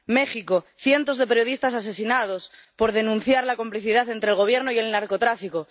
México cientos de periodistas asesinados por denunciar la complicidad entre el Gobierno y el narcotráfico